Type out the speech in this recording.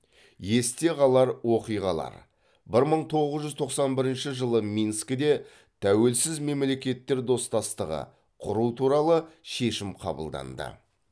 есте қалар оқиғалар бір мың тоғыз жүз тоқсан бірінші жылы минскіде тәуелсіз мемлекеттер достастығы құру туралы шешім қабылданды